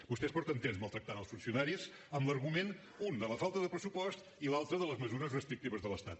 vostès fa temps que maltracten els funcionaris amb l’argument un de la falta de pressupost i l’altre de les mesures restrictives de l’estat